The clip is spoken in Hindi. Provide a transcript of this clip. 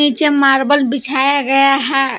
मार्बल बिछाया गया है।